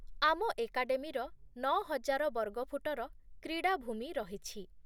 ଆମ ଏକାଡେମୀର ନଅହଜାର ବର୍ଗଫୁଟର କ୍ରୀଡ଼ାଭୂମି ରହିଛି